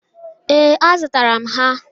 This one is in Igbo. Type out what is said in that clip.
Ee, azụtara m ha.